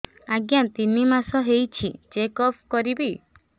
ଆଜ୍ଞା ତିନି ମାସ ହେଇଛି ଚେକ ଅପ କରିବି